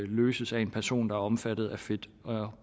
løses af en person der er omfattet af fit og